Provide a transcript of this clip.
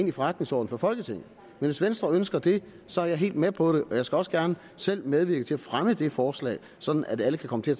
i forretningsorden for folketinget men hvis venstre ønsker det så er jeg helt med på det og jeg skal også gerne selv medvirke til at fremme det forslag sådan at alle kan komme til at